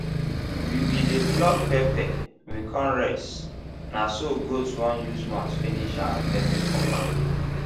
we be dey pluck pepper we con rest na so gaot won use mouth finish our pepper for bag